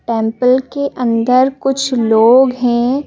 Temple के अंदर कुछ लोग हैं।